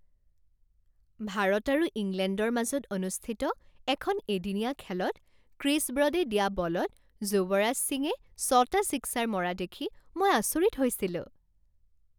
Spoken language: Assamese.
ভাৰত আৰু ইংলেণ্ডৰ মাজত অনুষ্ঠিত এখন এদিনীয়া খেলত ক্ৰিছ ব্ৰডে দিয়া বলত যুৱৰাজ সিঙে ছটা ছিক্সাৰ মৰা দেখি মই আচৰিত হৈছিলোঁ।